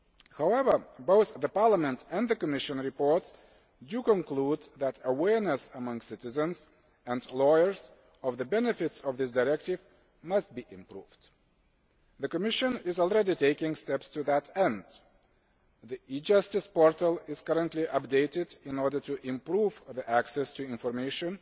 However, both the Parliament and the Commission reports conclude that awareness among citizens and lawyers of the benefits of this directive must be improved. The Commission is already taking steps to that end the e Justice portal is currently being updated in order to improve access to information